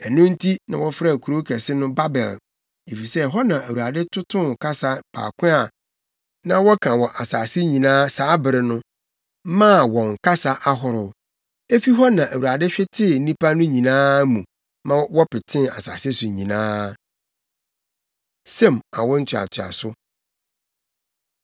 Ɛno nti na wɔfrɛɛ kurow kɛse no Babel, + 11.9 Din Babel no kyerɛ basabasa wɔ Hebri kasa mu. efisɛ, ɛhɔ na Awurade totoo kasa baako a na wɔka wɔ wiase nyinaa saa bere no, maa wɔn kasa ahorow. Efi hɔ na Awurade hwetee nnipa no nyinaa mu ma wɔpetee asase so nyinaa. Sem Awo Ntoatoaso